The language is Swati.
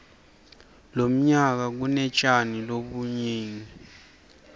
lomnyaka kmetjani lobunigi